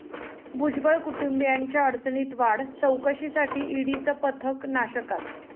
भुजबळ कुटुंबीयांच्या अडचणीत वाढ?, चौकशीसाठी ईडीचं पथक नाशकात